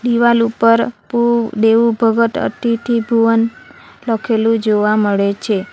દિવાલ ઉપર પુ દેવુ ભગત અતિથિ ભુવન લખેલું જોવા મળે છે.